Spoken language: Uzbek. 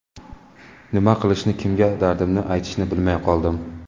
Nima qilishni, kimga dardimni aytishni bilmay qoldim.